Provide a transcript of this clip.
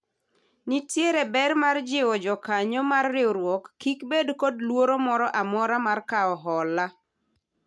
nitiere ber mar jiwo jokanyo mar riwruok kik bed kod luoro moro amora mar kawo hola